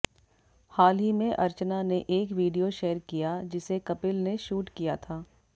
हाल ही में अर्चना ने एक वीडियो शेयर किया जिसे कपिल ने शूट किया था